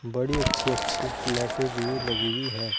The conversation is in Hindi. बड़ी अच्छी अच्छी लाइटें भी लगी हुई है।